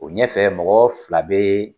O ɲɛfɛ mɔgɔ fila be